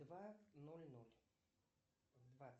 два ноль ноль в два